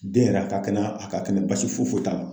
Den yɛrɛ a ka kɛnɛ a ka kɛnɛ basi foyi foyi t'a la .